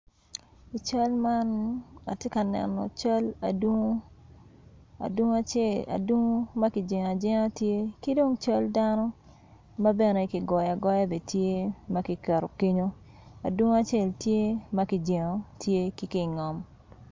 I cal man atye ka neno cal adungu adungu acel- adungu makijingo ajinga tye kidong cal dano mabene kigoyo agoya bene tye makiketo kenyo adungu acel tye makijingo tye ki ngom.